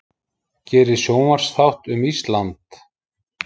Gerir sjónvarpsþátt um Ísland